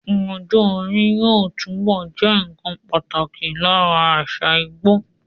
Ọjọ́ orí yóò túbọ̀ jẹ́ nnkan pàtàkì lára àṣà Ìgbò